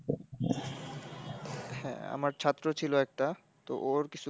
হ্যাঁ, আমার ছাত্র ছিল একটা, তো ওর কিছু,